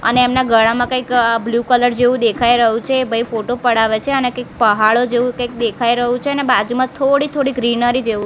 અને એમના ગળામાં કઇક બ્લુ કલર જેવુ દેખાય રહ્યુ છે એ ભઈ ફોટો પડાવે છે અને કઇક પહાડો જેવુ કઇક દેખાય રહ્યુ છે અને બાજુમાં થોડી થોડી ગ્રીનરી જેવુ--